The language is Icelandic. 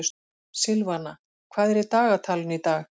Silvana, hvað er í dagatalinu í dag?